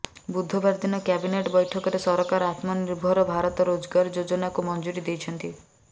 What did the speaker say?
ବୁଧବାର ଦିନ କ୍ୟାବିନେଟ ବୈଠକରେ ସରକାର ଆତ୍ମନିର୍ଭର ଭାରତ ରୋଜଗାର ଯୋଜନାକୁ ମଞ୍ଜୁରୀ ଦେଇଛନ୍ତି